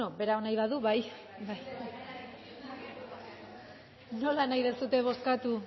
bueno berak nahi badu bai nola nahi duzue bozkatu